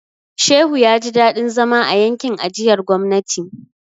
Shehu ya ji dadin zama a yankin ajiyar gwamnati.